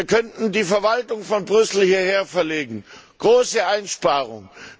Wir könnten die Verwaltung von Brüssel hierher verlegen große Einsparungen.